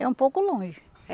É um pouco longe.